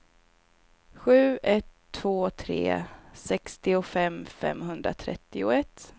sju ett två tre sextiofem femhundratrettioett